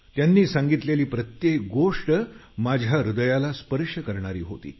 त्यांनी सांगितलेली प्रत्येक गोष्ट माझ्या हृदयाला स्पर्श करणारी होती